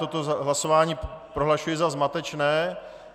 Toto hlasování prohlašuji za zmatečné.